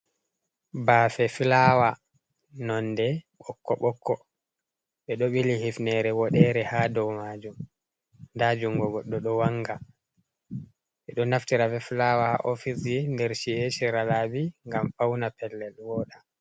Bafe flawa nonde bokko bokko bedo bili hifnere bodere hadou majum, dajungo goddo do wanga be do naftira flawa ha ofisji der chi’eji shira labi gam bauna pellel voda.